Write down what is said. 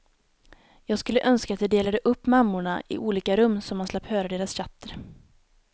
Jag skulle önska att de delade upp mammorna i olika rum så man slapp höra deras tjatter.